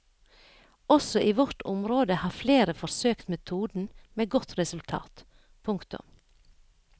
Også i vårt område har flere forsøkt metoden med godt resultat. punktum